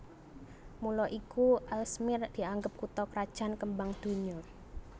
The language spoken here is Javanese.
Mula iku Aalsmeer dianggep kutha krajan kembang donya